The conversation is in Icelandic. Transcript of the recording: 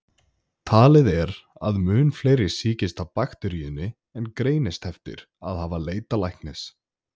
Talið er að mun fleiri sýkist af bakteríunni en greinast eftir að hafa leitað læknis.